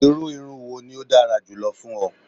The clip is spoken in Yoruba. Iru irun wo ni o dara julọ fun ọ?